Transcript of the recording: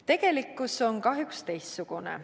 Tegelikkus on kahjuks teistsugune.